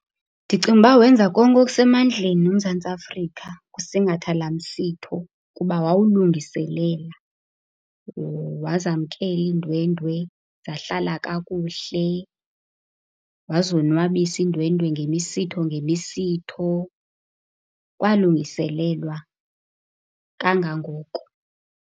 Ndicinga ukuba wenza konke okusemandleni uMzantsi Afrika ngosingatha laa msitho kuba wawulungiselela. wazamkela iindwendwe, zahlala kakuhle. Wazonwabisa iindwendwe ngemisitho ngemisitho. Kwalungiselelwa kangangoko.